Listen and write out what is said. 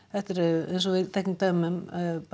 þetta eru eins og við þekkjum bara dæmi um